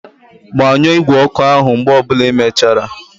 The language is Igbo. Gbanyụọ igwe ọkụ áhụ̀ mgbe ọ bụla ịmechara!